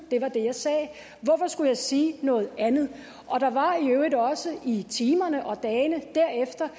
det var det jeg sagde hvorfor skulle jeg sige noget andet der var i øvrigt også i timerne og dagene derefter